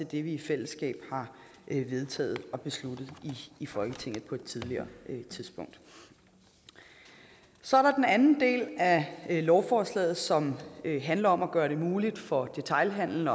det vi i fællesskab har vedtaget og besluttet i folketinget på et tidligere tidspunkt så er der den anden del af lovforslaget som handler om at gøre det muligt for detailhandelen